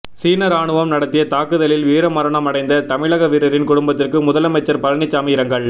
சீன ராணுவம் நடத்திய தாக்குதலில் வீரமரணம் அடைந்த தமிழக வீரரின் குடும்பத்திற்கு முதலமைச்சர் பழனிசாமி இரங்கல்